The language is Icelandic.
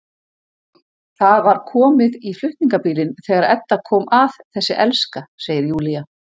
Það var komið í flutningabílinn þegar Edda kom að, þessi elska, segir Júlía.